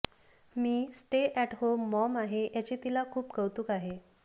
me stay at home mom आहे याचे तिला खूप कौतुक आहे